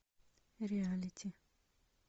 реалити